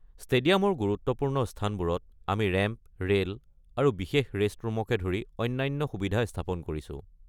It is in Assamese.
ষ্টেডিয়ামৰ গুৰুত্বপূৰ্ণ স্থানবোৰত, আমি ৰেম্প, ৰে'ল আৰু বিশেষ ৰেষ্টৰুমকে ধৰি অনন্য সুবিধা স্থাপন কৰিছো।